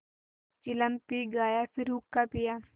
चिलम पी गाया फिर हुक्का पिया